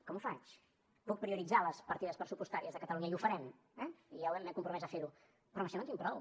com ho faig puc prioritzar les partides pressupostàries de catalunya i ho farem eh ja m’he compromès a fer ho però amb això no en tinc prou